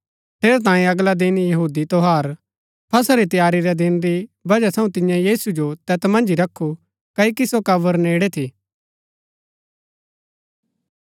ठेरैतांये अगला दिन यहूदी त्यौहार फसह री तैयारी रै दिन री बजह थऊँ तियें यीशु जो तैत मन्ज ही रखू क्ओकि सो कब्र नेड़ै थी